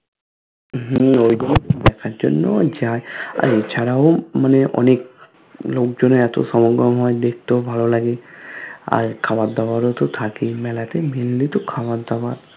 হুম ঐগুলোইতো দেখার জন্যই যায় আর এ ছাড়াও মানে অনেক লোক জনের এত সমাগম হয় দেখতেও ভালো লাগে আর খাবার দাওয়ারও তো থাকেই মেলাতে mainly তো খাবার দাবার